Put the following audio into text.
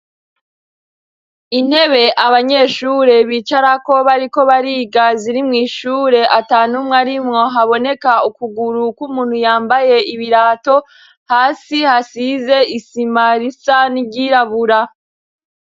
Intebe abanyeshure bicarako bariko bariga ziri mw' ishure atanumwe arimwo haboneka ukuguru kw' umuntu yambaye ibirato hasi hasize isima risa n' iryirabura